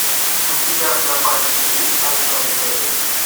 у тебя в запасе есть одной левой